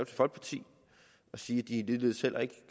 folkeparti og sige at de ligeledes heller ikke